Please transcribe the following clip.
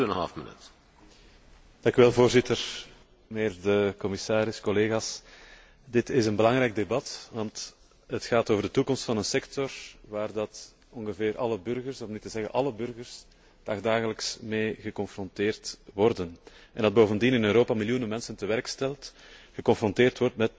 Voorzitter, mijnheer de commissaris, collega's, dit is een belangrijk debat, want het gaat over de toekomst van een sector waarmee bijna alle burgers, om niet te zeggen alle burgers, dagelijks geconfronteerd worden en die bovendien in Europa miljoenen mensen tewerkstelt en geconfronteerd wordt met bijzonder grote uitdagingen.